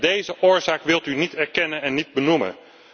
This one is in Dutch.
Deze oorzaak wilt u niet erkennen en niet benoemen.